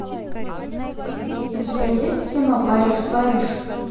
у тебя есть кино париж париж